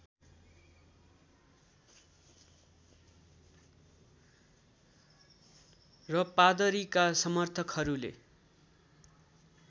र पादरीका समर्थकहरूले